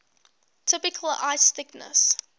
typical ice thickness